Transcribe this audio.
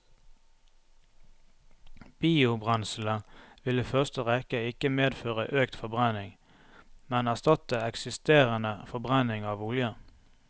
Biobrenselet vil i første rekke ikke medføre økt forbrenning, men erstatte eksisterende forbrenning av olje.